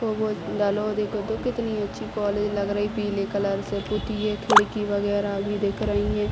कितनी अच्छी कॉलेज लग रही है | पीले कलर से पुत्ती है | खिड़की वगेरा भी दिख रही है ।